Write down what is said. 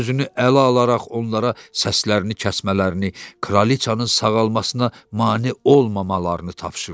Özünü ələ alaraq onlara səslərini kəsmələrini, kraliçanın sağalmasına mane olmamalarını tapşırdı.